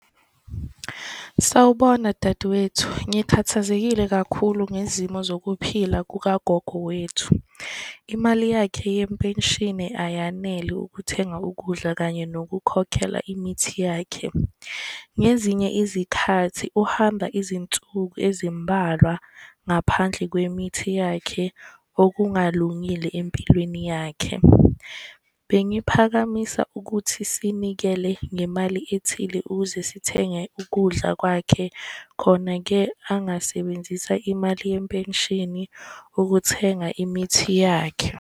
Sawubona dadewethu, ngikhathazekile kakhulu ngezimo zokuphila kukagogo wethu. Imali yakhe yempenishine ayanele ukuthenga ukudla kanye nokukhokhela imithi yakhe. Ngezinye izikhathi uhamba izinsuku ezimbalwa ngaphandle kwemithi yakhe, okungalungile empilweni yakhe. Bengiphakamisa ukuthi sinikele ngemali ethile ukuze sithenge ukudla kwakhe, khona-ke angasebenzisa imali yempenishini ukuthenga imithi yakhe.